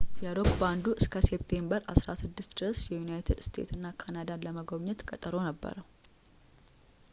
የሮክ ባንዱ እስከ ሴፕቴምበር 16 ድረስ ዩናይትድ ስቴትስ እና ካናዳን ለመጎብኘት ቀጠሮ ነበረው